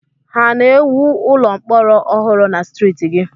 Ha na-ewu ụlọ mkpọrọ ọhụrụ na streeti gị?